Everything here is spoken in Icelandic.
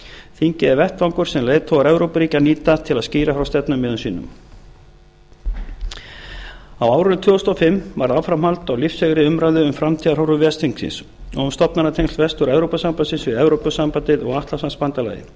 þingið er vettvangur sem leiðtogar evrópuríkja nýta til að skýra frá stefnumiðum sínum á árinu tvö þúsund og fimm varð áframhald á lífseigri umræðu um framtíðarhorfur ves þingsins og framtíðarhorfur evrópusambandsins við evrópusambandið og atlantshafsbandalagið